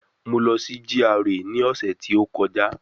Mo lọ sí GRA ni ọ̀sẹ̀ tí ó kọjá